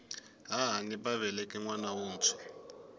hahani va veleke nwana wuntshwa